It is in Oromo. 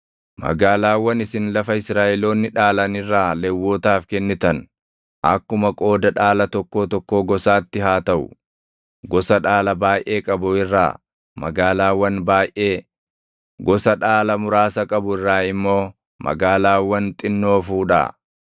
Magaalaawwan isin lafa Israaʼeloonni dhaalan irraa Lewwotaaf kennitan, akkuma qooda dhaala tokkoo tokkoo gosaatti haa taʼu; gosa dhaala baayʼee qabu irraa magaalaawwan baayʼee, gosa dhaala muraasa qabu irraa immoo magaalaawwan xinnoo fuudhaa.”